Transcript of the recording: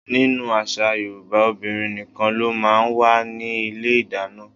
Nínú àṣà Yorùbá, obìnrin nìkan ló máa ń wà ní ilé ìdáná.